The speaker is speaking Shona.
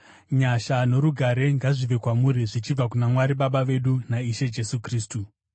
Nyasha norugare ngazvive kwamuri zvichibva kuna Mwari Baba vedu naIshe Jesu Kristu.